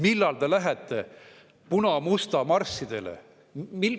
Millal te lähete puna-musta marssidele?